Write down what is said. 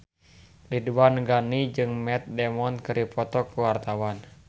Ridwan Ghani jeung Matt Damon keur dipoto ku wartawan